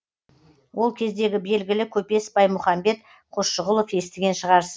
ол кездегі белгілі көпес баймұхамбет қосшығұлов естіген шығарсыз